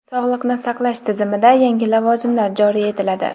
Sog‘liqni saqlash tizimida yangi lavozimlar joriy etiladi.